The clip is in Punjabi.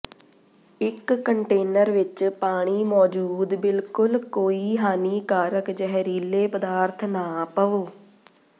ਇੱਕ ਕੰਟੇਨਰ ਵਿੱਚ ਪਾਣੀ ਮੌਜੂਦ ਬਿਲਕੁਲ ਕੋਈ ਹਾਨੀਕਾਰਕ ਜ਼ਹਿਰੀਲੇ ਪਦਾਰਥ ਨਾ ਪਵੋ